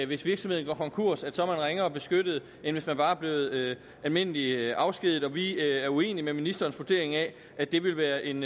hvis virksomheden går konkurs er ringere beskyttet end hvis man bare er blevet almindeligt afskediget vi er også uenige i ministerens vurdering af at det vil være en